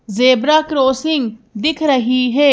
Zebra crossing दिख रही है।